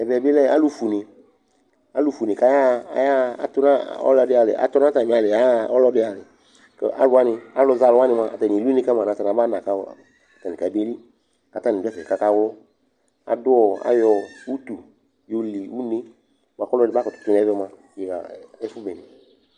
Ɛvɛ bɩ lɛ alʋfue une, alʋfue une kʋ ayaɣa, ayaɣa, atʋ nʋ ɔlɔdɩ alɩ, atʋ nʋ atamɩ alɩ yɛ yaɣa ɔlɔdɩ alɩ kʋ alʋ wanɩ, alʋzɛ alʋ wanɩ mʋa, atanɩ eli une ka ma nʋ atanɩ abana kʋ atanɩ kabeli kʋ atanɩ dʋ ɛfɛ kʋ akaɣlɔ Adʋ ɔ ayɔ utu yɔli une yɛ bʋa kʋ ɔlɔdɩ makʋtʋ tʋ nʋ ɛvɛ mʋa, tɩ ɣa ɛfʋ bene